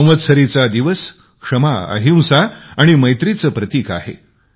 संवात्सारीचा दिवस क्षमा अहिंसा आणि मैत्रीचे प्रतिक आहे